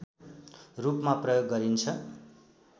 रूपमा प्रयोग गरिन्छ